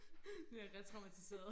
Jeg retraumatiseret